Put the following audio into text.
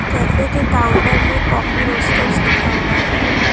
Cafe के counter में coffee roasters लिखा हुआ है।